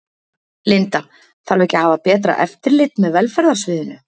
Linda: Þarf ekki að hafa betra eftirlit með velferðarsviðinu?